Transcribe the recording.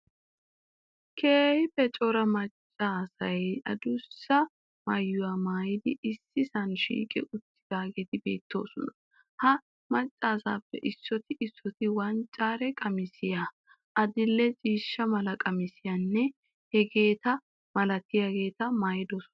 Keehippe cora maccaasay adussa maayuwaa maayidi issisaa shiiqqi uttidaageeti beettoosona. Ha maccasaappe issootti issootti wanccare qamissiyaa, adildhdhe ciishsha mala qamissiyanne heegeeta malabaata maayidosona